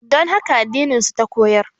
Don haka addinin su ta koyar